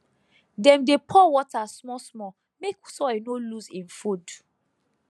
dem dey pour water smallsmall make soil no lose im food